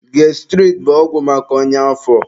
Gastirid bụ ọgwụ maka ọnya afọ.